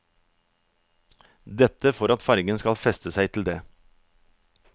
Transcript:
Dette for at fargen skal fester seg til det.